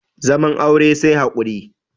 zaman aure sai haƙuri